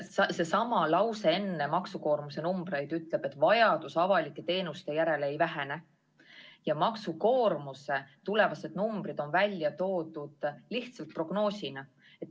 Seesama lause, mis eelneb maksukoormuse numbritele, ütleb, et vajadus avalike teenuste järele ei vähene ja tulevase maksukoormuse numbrid on välja toodud lihtsalt prognoosina.